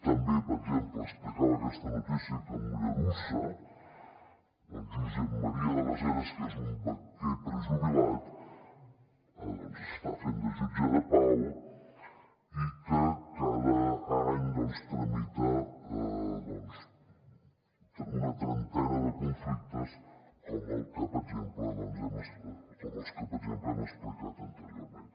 també per exemple explicava aquesta notícia que a mollerussa el josep maria de les eres que és un banquer prejubilat està fent de jutge de pau i que cada any tramita una trentena de conflictes com els que per exemple hem explicat anteriorment